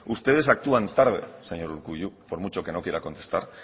ustedes actúan tarde señor urkullu por mucho que no quiera contestar